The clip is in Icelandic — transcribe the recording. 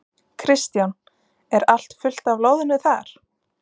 Kristján: Er allt fullt af loðnu þar?